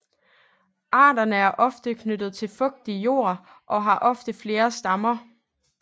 Arterne er ofte knyttet til fugtig jord og har ofte flere stammer